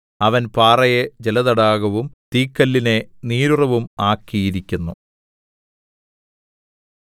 അവൻ പാറയെ ജലതടാകവും തീക്കല്ലിനെ നീരുറവും ആക്കിയിരിക്കുന്നു